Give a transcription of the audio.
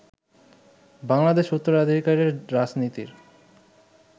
বাংলাদেশে উত্তরাধিকারের রাজনীতির